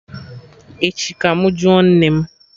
Echi ka mụ jụọ nne m